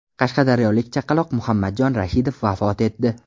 Qashqadaryolik chaqaloq Muhammadjon Rashidov vafot etdi.